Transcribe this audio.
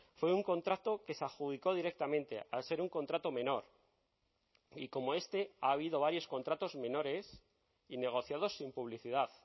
fue un contrato que se adjudicó directamente al ser un contrato menor y como este ha habido varios contratos menores y negociados sin publicidad